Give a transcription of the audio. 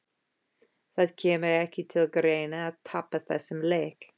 Það kemur ekki til greina að tapa þessum leik!